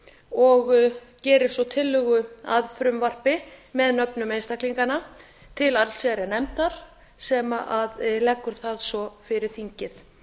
og gerir svo tillögu að frumvarpi með nöfnum einstaklinganna til allsherjarnefndar sem leggur það svo fyrir þingið